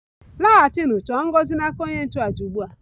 Laghachinụ chọọ ngọzi n' aka onye nchụàjà ugbu a!